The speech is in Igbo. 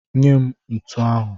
Nye m ntu ahụ!